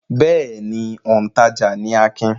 Bẹ́ẹ̀ ni, òǹtajà ni Akin.